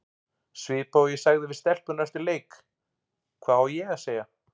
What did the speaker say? Svipað og ég sagði við stelpurnar eftir leik, hvað á ég að segja?